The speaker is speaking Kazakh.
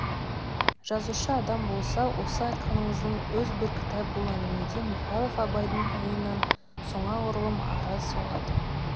жазушы адам болса осы айтқаныңыздың өз бір кітап бұл әңгімеде михайлов абайдың ойынан сонағұрлым ары соғады